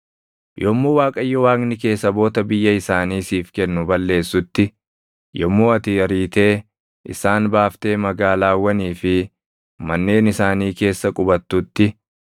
Yommuu Waaqayyo Waaqni kee saboota biyya isaanii siif kennu balleessutti, yommuu ati ariitee isaan baaftee magaalaawwanii fi manneen isaanii keessa qubattutti,